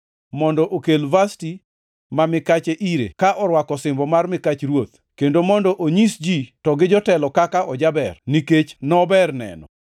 mondo okel Vashti ma mikache ire ka orwako osimbo mar mikach ruoth, kendo mondo onyis ji to gi jotelo kaka ojaber, nikech nober neno.